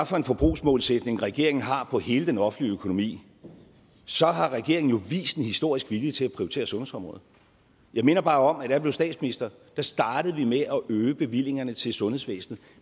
for en forbrugsmålsætning regeringen har hele den offentlige økonomi så har regeringen jo vist en historisk vilje til at prioritere sundhedsområdet jeg minder bare om at jeg blev statsminister startede med at øge bevillingerne til sundhedsvæsenet